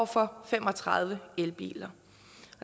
for fem og tredive elbiler